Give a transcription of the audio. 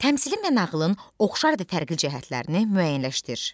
Təmsili mənağlın oxşar və tərqli cəhətlərini müəyyənləşdir.